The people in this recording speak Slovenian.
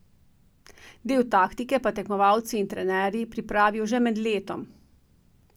Del taktike pa tekmovalci in trenerji pripravijo že med letom.